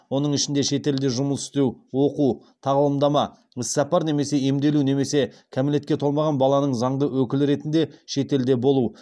оның ішінде шетелде жұмыс істеу оқу тағылымдама іссапар немесе емделу немесе кәмелетке толмаған баланың заңды өкілі ретінде шетелде болу